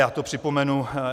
Já to připomenu.